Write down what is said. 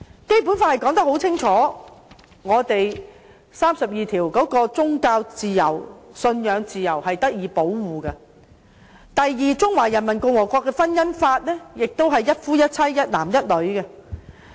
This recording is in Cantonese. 《基本法》第三十二條清楚訂明我們的宗教信仰自由受到保障；第二，中華人民共和國的婚姻法亦是一夫一妻、一男一女。